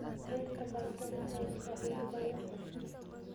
Beerta baradhada ayaa faa'iido badan leh.